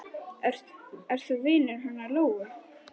Ert þú vinur hennar Lóu?